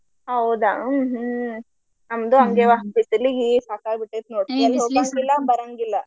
ಹೌದಾ ಹ್ಮ ನಮ್ದು ಹಂಗೆವಾ ಬಿಸಲಿಗಿ ಸಾಕಾಗಿ ಬಿಟ್ಟೆತಿ ನೋಡ ಎಲ್ಲಿ ಹೋಗಾಂಗಿಲ್ಲಾ ಬರಾಂಗಿಲ್ಲ.